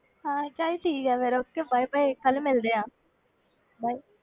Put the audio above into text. ਹਾਂ ਚੱਲ ਠੀਕ ਹੈ ਫਿਰ okay bye bye ਕੱਲ੍ਹ ਮਿਲਦੇ ਹਾਂ bye